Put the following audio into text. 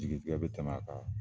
Jigi tigɛ be tɛmɛ a kan ?